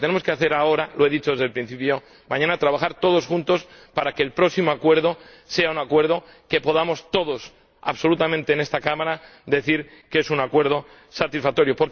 Y lo que tenemos que hacer ahora —lo he dicho desde el principio— es trabajar mañana todos juntos para que el próximo acuerdo sea un acuerdo del que podamos decir todos absolutamente en esta Cámara que es un acuerdo satisfactorio.